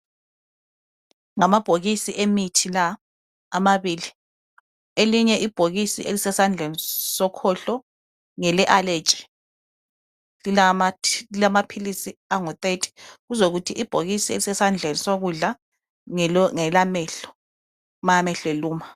Ngamabhokisi emithi la amabili elinye ibhokisi lisesandleni sokhohlo ngele Allergy lilamapills angu30 kuzokuthi ibhokisi elisesandleni sokudla ngelamehlo ma amehlo eluma